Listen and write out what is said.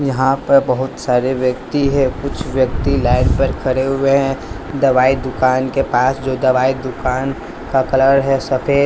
यहां पर बहुत सारे व्यक्ति है कुछ व्यक्ति लाइन पर खड़े हुए हैं दवाई दुकान के पास जो दवाई दुकान का कलर है सफेद--